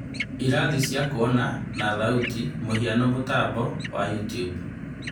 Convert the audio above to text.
Irathi cia kuona - na thauti (mũhiano, mũtambo wa YouTube)